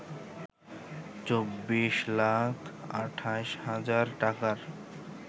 ২৪ লাখ ২৮ হাজার টাকার